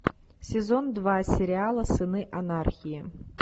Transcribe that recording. сезон два сериала сыны анархии